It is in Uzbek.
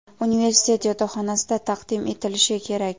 universitet yotoqxonasida taqdim etilishi kerak.